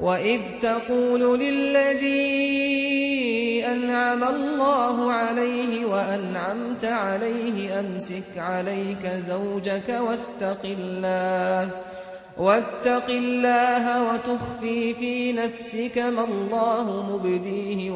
وَإِذْ تَقُولُ لِلَّذِي أَنْعَمَ اللَّهُ عَلَيْهِ وَأَنْعَمْتَ عَلَيْهِ أَمْسِكْ عَلَيْكَ زَوْجَكَ وَاتَّقِ اللَّهَ وَتُخْفِي فِي نَفْسِكَ مَا اللَّهُ مُبْدِيهِ